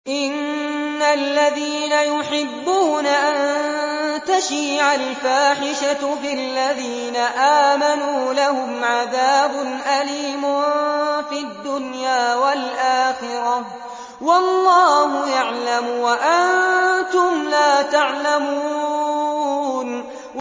إِنَّ الَّذِينَ يُحِبُّونَ أَن تَشِيعَ الْفَاحِشَةُ فِي الَّذِينَ آمَنُوا لَهُمْ عَذَابٌ أَلِيمٌ فِي الدُّنْيَا وَالْآخِرَةِ ۚ وَاللَّهُ يَعْلَمُ وَأَنتُمْ لَا تَعْلَمُونَ